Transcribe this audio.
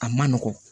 A man nɔgɔn